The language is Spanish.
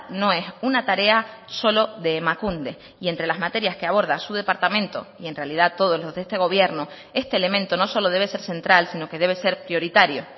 no es una tarea solo de emakunde y entre las materias que aborda su departamento y en realidad todos los de este gobierno este elemento no solo debe ser central sino que debe ser prioritario